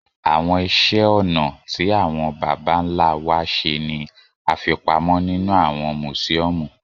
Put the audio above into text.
Àwọn ìṣe ọnà tí àwọn bàbá ńlá wa ṣe ni àfi pamọ́ nínú àwọn mùsíọ́ọ̀mù